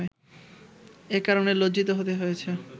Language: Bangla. এ কারণে লজ্জিত হতে হয়েছে